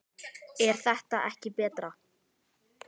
er þetta ekki betra?